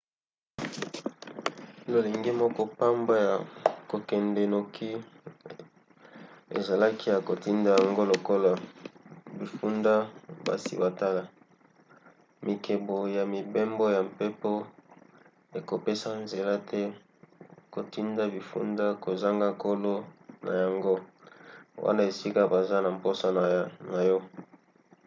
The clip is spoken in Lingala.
lolenge moko pamba ya kokende noki ezalaki ya kotinda yango lokola bifunda basi batala. mibeko ya mibembo ya mpepo ekopesa nzela te kotinda bifunda kozanga kolo na yango wana esika baza na mposa na yo